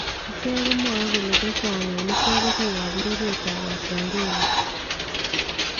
Icheek komwae kole chechang en icheek ko biikab bororyeetab Wabengali.